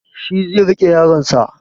Shi zai riƙe yaronsa